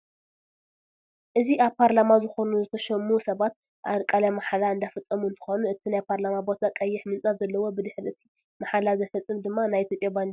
እዚ አብ ፓርላማ ዝኮኑ ዝተሾሙ ሰባት ቃለመሓላ እንዳፈፀሙ እንትኮኑ እቲ ናይ ፓርላማ ቦታ ቀይሕ ምንፃፍ ዘለዎ ብድሕሪ እቲ መሓላ ዘፈፅም ድማ ናይ ኢትዮጵያ ባንዴራ አሎ፡፡